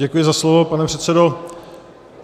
Děkuji za slovo, pane předsedo.